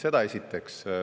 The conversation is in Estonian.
Seda esiteks.